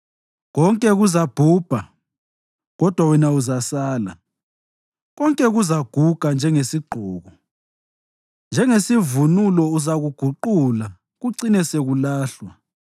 Konke kuzabhubha, kodwa wena uzasala; konke kuzaguga njengesigqoko. Njengesivunulo uzakuguqula kucine sekulahlwa.